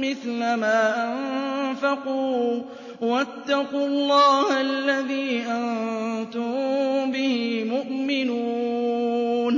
مِّثْلَ مَا أَنفَقُوا ۚ وَاتَّقُوا اللَّهَ الَّذِي أَنتُم بِهِ مُؤْمِنُونَ